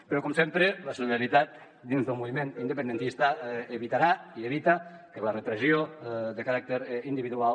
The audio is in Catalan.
però com sempre la solidaritat dins del moviment independentista evitarà i evita que la repressió de caràcter individual